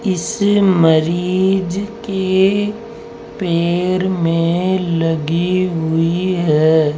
इस मरीज के पैर मे लगी हुई है।